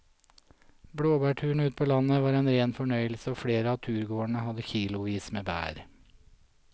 Blåbærturen ute på landet var en rein fornøyelse og flere av turgåerene hadde kilosvis med bær.